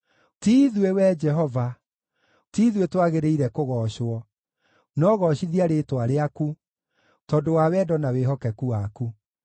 Ti ithuĩ, Wee Jehova, ti ithuĩ twagĩrĩire kũgoocwo, no goocithia rĩĩtwa rĩaku, tondũ wa wendo na wĩhokeku waku.